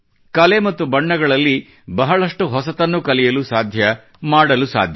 ಕಲೆ ಮತ್ತು ಬಣ್ಣಗಳಲ್ಲಿ ಬಹಳಷ್ಟು ಹೊಸತನ್ನು ಕಲಿಯಲು ಸಾಧ್ಯ ಮಾಡಲು ಸಾಧ್ಯ